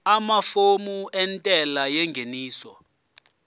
amafomu entela yengeniso